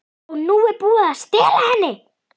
OG NÚ ER BÚIÐ AÐ STELA HENNI!